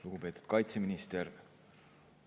Lugupeetud kaitseminister!